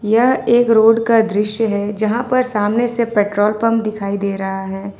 यह एक रोड का दृश्य है जहां पर सामने से पेट्रोल पंप दिखाई दे रहा है।